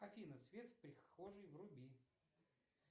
афина свет в прихожей вруби